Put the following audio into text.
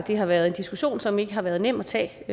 har været en diskussion som ikke har været nem at tage